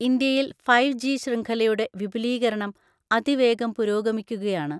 ഇന്ത്യയിൽ five G ശൃഖലയുടെ വിപുലീകരണം അതിവേഗം പുരോഗമിക്കുകയാണ്.